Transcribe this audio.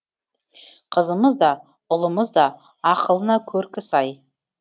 қызымыз да ұлымыз да ақылына көркі сай